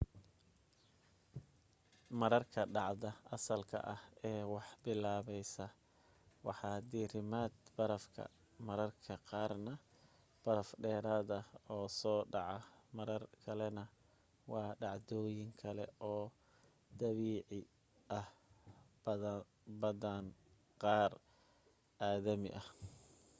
mararka dhacda asalka ah ee wax bilaabaysaa waa diirimaadka barafka mararka qaarna baraf dheeraada oo soo dhaca marar kalena waa dhacdooyin kale oo dabiici ah badaan qaar aadami ah